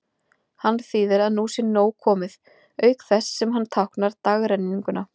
Hann þýðir að nú sé nóg komið, auk þess sem hann táknar dagrenninguna.